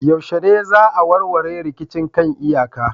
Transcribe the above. Yaushe ne za a warware rikicin kan iyaka